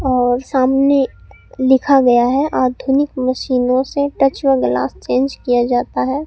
और सामने लिखा गया है आधुनिक मशीनों से टच व ग्लास चेंज किया जाता है।